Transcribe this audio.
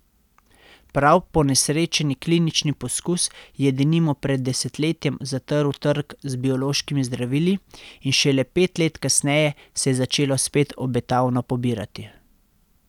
Prav ponesrečeni klinični poskus je denimo pred desetletjem zatrl trg z biološkimi zdravili in šele pet let kasneje se je začelo spet obetavno pobirati.